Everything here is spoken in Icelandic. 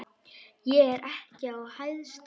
Ég er ekki að hæðast.